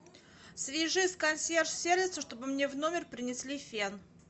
свяжись с консьерж сервисом чтобы мне в номер принесли фен